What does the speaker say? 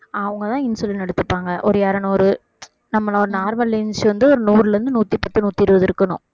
அவங்கதான் insulin எடுத்துப்பாங்க ஒரு இருநூறு நம்மளோட normal வந்து ஒரு நூறுல இருந்து நூத்தி பத்து நூத்தி இருபது இருக்கணும்